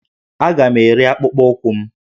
Aga m ere akpụkpọ ụkwụ m